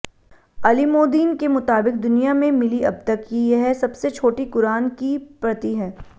अलिमोदीन के मुताबिक दुनिया में मिली अबतक कि यह सबसे छोटी कुरान क़ी प्रति है